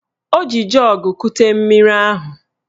O ji jọọgụ kute mmiri ahụ